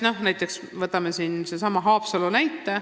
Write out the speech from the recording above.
Või võtame sellesama Haapsalu näite.